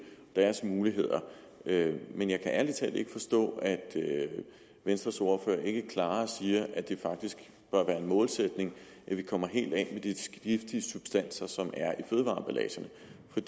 og deres muligheder men jeg kan ærlig talt ikke forstå at venstres ordfører ikke klarere siger at det faktisk bør være en målsætning at vi kommer helt af med de giftige substanser som er